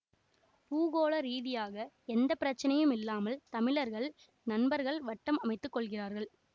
பூகோள ரீதியாக எந்த பிரச்சனையுமில்லாமல் தமிழர்கள் நண்பர்கள் வட்டம் அமைத்து கொள்கிறார்கள்